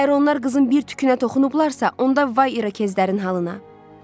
Əgər onlar qızın bir tükünə toxunublarsa, onda vay İrokezlərin halına.